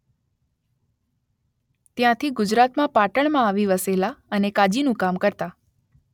ત્યાંથી ગુજરાતમાં પાટણમાં આવી વસેલા અને કાજીનું કામ કરતા